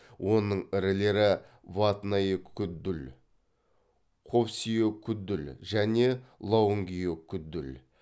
оның ірілері ватнайекүдл хофсиекүдл және лаунгиекүдл